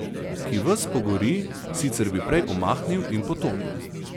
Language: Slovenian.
Ki ves pogori, sicer bi prej omahnil in potonil.